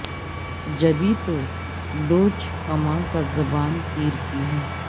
جبھی تو لوچ کماں کا زبان تیر کی ہے